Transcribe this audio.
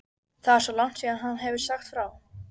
Edda fann hvernig hitinn hljóp fram í kinnar henni.